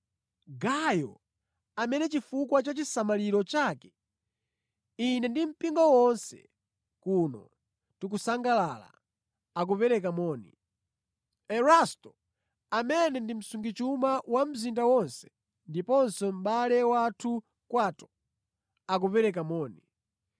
Gayo, amene chifukwa cha chisamaliro chake, ine ndi mpingo wonse kuno tikusangalala, akupereka moni. Erasto, amene ndi msungichuma wa mzinda wonse ndiponso mʼbale wathu Kwato, akupereka moni.